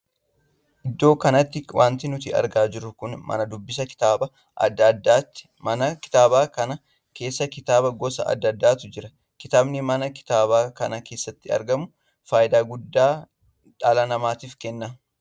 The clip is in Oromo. Iddoo kanatti wanti nuti argaa jirru kun mana dubbisaa kitaaba addaa addaat. mana kitaaba kana keessa kitaaba gosa addaa addaatu jira. kitaabni mana kitaabaa kana keessatti argamu faayidaa guddaa dhala namaatiif kenna.